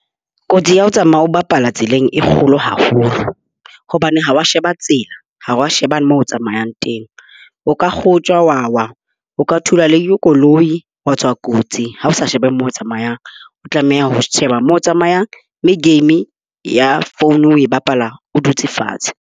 Kotsi ya ho tsamaya o bapala tseleng e kgolo haholo. Hobane ha o a sheba tsela. Ha o a sheba moo tsamayang teng. O ka kgotjwa, wa wa. O ka thulwa le ke koloi wa tswa kotsi ha o sa sheba moo tsamayang. O tlameha ho sheba moo o tsamayang, mme game ya phone o e bapala o dutse fatshe.